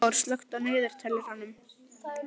Sigþór, slökktu á niðurteljaranum.